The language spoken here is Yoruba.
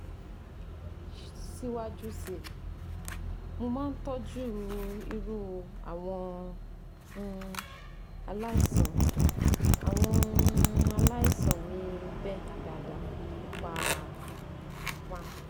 Siwaju si, mo ma n toju iru awon um alaisan awon um alaisan mi be daada nipa:- one